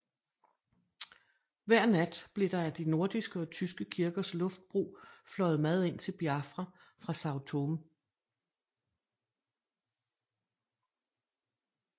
Hver nat blev der ad de nordiske og tyske kirkers luftbro fløjet mad ind til Biafra fra Sao Tome